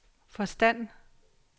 forstand